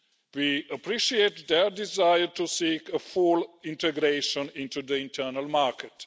We appreciate their desire to seek full integration into the internal market.